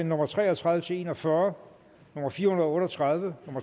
nummer tre og tredive til en og fyrre fire hundrede og otte og tredive